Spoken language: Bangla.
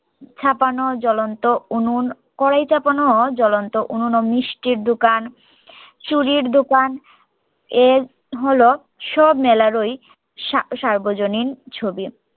ছাপানো জ্বলন্ত উনুন কড়াই চাপানো জ্বলন্ত উনুন ও মিষ্টির দুকান চুরির দুকান এ হল সব মেলার ওই সা সার্বজনীন ছবি